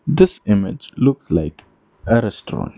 This image looks like a restaurant.